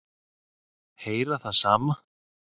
Heyra það sama.